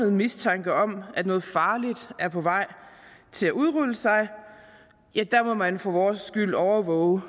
mistanke om at noget farligt er på vej til at udrulle sig ja der må man for vores skyld overvåge